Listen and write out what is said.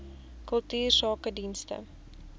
kultuursakedienste